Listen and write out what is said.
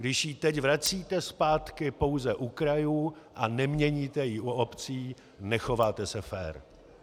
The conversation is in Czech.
Když ji teď vracíte zpátky pouze u krajů a neměníte ji u obcí, nechováte se fér.